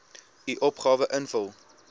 u opgawe invul